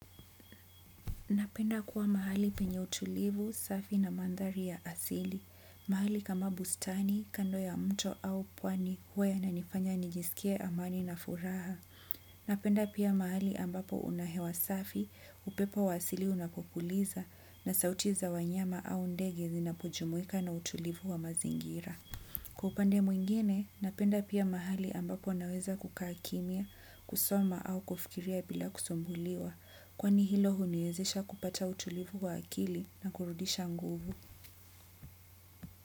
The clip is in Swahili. Napenda kuwa mahali penye utulivu safi na mandhari ya asili. Mahali kama bustani, kando ya mto au pwani huw yananifanya nijisikie amani na furaha. Napenda pia mahali ambapo una hewa safi, upepo wa asili unapopuliza na sauti za wanyama au ndege zinapojumuika na utulivu wa mazingira. Kwa upande mwingine, napenda pia mahali ambapo unaweza kukaa kimya, kusoma au kufikiria bila kusumbuliwa, kwani hilo huniezesha kupata utulivu wa akili na kurudisha nguvu.